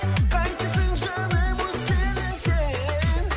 қайтесің жаным өзгені сен